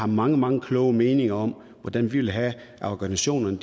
mange mange kloge meninger om hvordan vi vil have at organisationerne